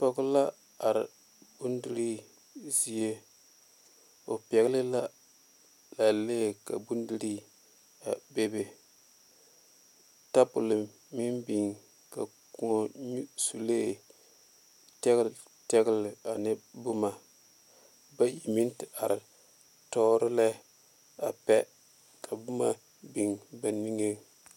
Pɔge la are bone dire zieŋ o pɛle la pɛlee tabole meŋ big ka kõɔ ne suulee teɛteɛ boma bayi meŋ te are tuoro lɛ ka boma big ba niŋe.